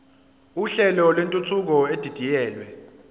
uhlelo lwentuthuko edidiyelwe